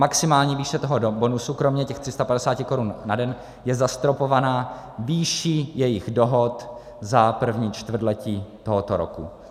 Maximální výše toho bonusu kromě těch 350 korun na den je zastropována výší jejich dohod za první čtvrtletí tohoto roku.